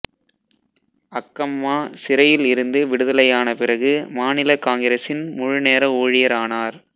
அக்கம்மா சிறையில் இருந்து விடுதலையான பிறகு மாநில காங்கிரசின் முழு நேர ஊழியர் ஆனார்